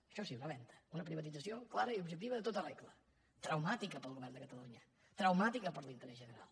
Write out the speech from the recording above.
això sí una venda una privatització clara i objectiva en tota regla traumàtica per al govern de catalunya traumàtica per l’interès general